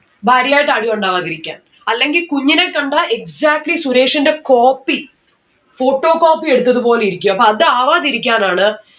ഭാര്യ ആയിട്ട് അടി ഉണ്ടാവാതിരിക്കാൻ. അല്ലെങ്കിൽ കുഞ്ഞിനെ കണ്ടാ exactly സുരേഷിന്റെ copy photocopy എടുത്തത് പോലെ ഇരിക്കും അപ്പോ അത് ആവാതിരിക്കാനാണ്